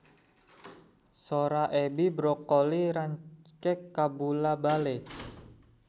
Sora Edi Brokoli rancage kabula-bale